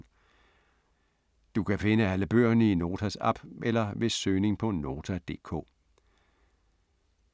Du kan finde alle bøgerne i Notas app eller ved søgning på Nota.dk